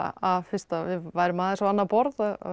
að fyrst að við værum að þessu á annað borð